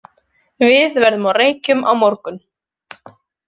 Við verðum á Reykjum á morgun.